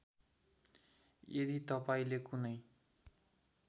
यदि तपाईँले कुनै